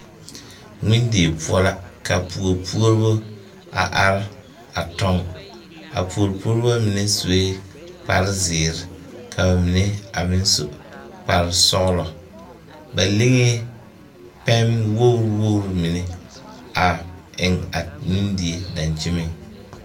Ŋmendie poɔ la ka puori puobo a are tɔŋ a puori puobo mine sue kpare zēēre ka ba mine a meŋ su kpare sɔglɔ ba liŋee pɛm wogrewogre mine a eŋ a ŋmendie daŋkyeniŋ.